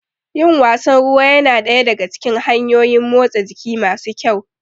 Yin wasan ruwa ya na daya daga cikin hanyoyin motsa jiki masu kyau.